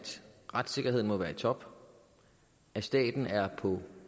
retssikkerheden må være i top at staten er på